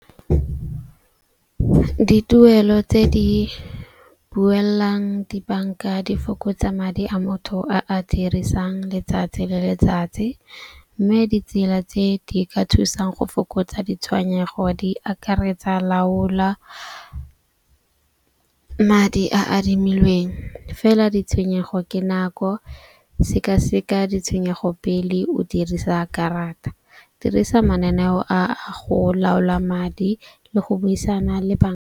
Dituelo tse di buellang dibanka di fokotsa madi a motho a a dirisang letsatsi le letsatsi. Mme ditsela tse di ka thusang go fokotsa ditshwenyego di akaretsa laola madi a adimilweng. Fela ditshwenyego ke nako sekaseka ditshwenyego pele o dirisa karata, dirisa mananeo a go laola madi le go buisana le .